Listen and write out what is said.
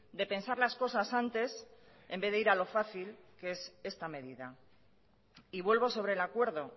de pensar las cosas antes en vez de ir a lo fácil que es esta medida y vuelvo sobre el acuerdo